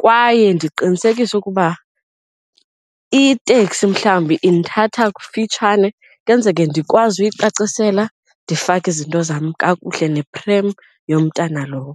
kwaye ndiqinisekise ukuba iteksi mhlawumbi indithatha kufitshane kwenzeke ndikwazi uyicacisela ndifake izinto zam kakuhle neprem yomntana lowo.